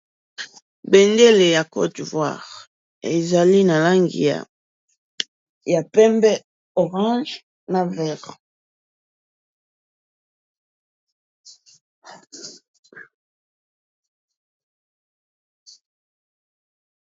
Bendele ya côte d'Ivoire ezali na langi ya pembe orange na vert.